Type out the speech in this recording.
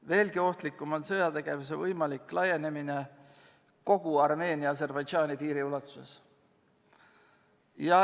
Veelgi ohtlikum on sõjategevuse võimalik laienemine kogu Armeenia-Aserbaidžaani piiri ulatuses.